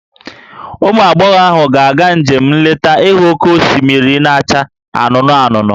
Ụmụ agbọghọ ahụ ga-aga njem nleta ịhụ oke osimiri na-acha anụnụ anụnụ